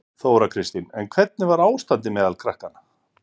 Þóra Kristín: En hvernig var ástandið meðal krakkanna?